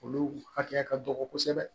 Olu hakɛya ka dɔgɔ kosɛbɛ